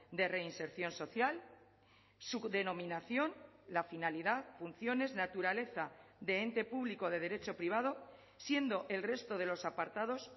de reinserción social su denominación la finalidad funciones naturaleza de ente público de derecho privado siendo el resto de los apartados